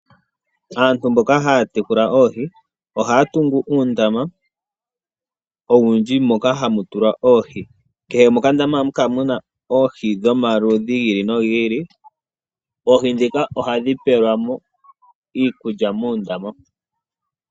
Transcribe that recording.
Aantu mboka haya yekula oohi ohaya tungu uundama owundji moka hamu tulwa oohi. Kehe mokandama ohamu kala muna oohi dhomaludhi gi ili nogi ili. Oohi dhika ohadhi pelwamo iikulya moondama.